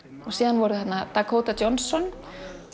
og síðan voru þarna Dakota Johnson